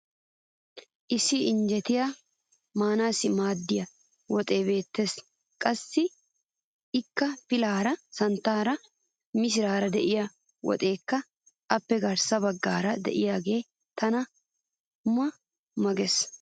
issi injeetaa maanassi maadiya woxee beetees. qassi ikka pilaara, santaara, missiraara, diya woxeekka appe garssa bagaara diyaagee tana maq ma gees.